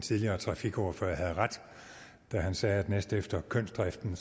tidligere trafikordfører havde ret da han sagde at næstefter kønsdriften